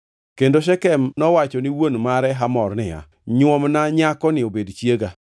Kendo Shekem nowacho ni wuon mare Hamor niya, “Nyuomna nyakoni obed chiega.”